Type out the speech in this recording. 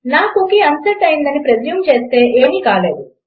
నా cookie unset అయ్యిందని presume చేస్తే ఏమీ కాలేదు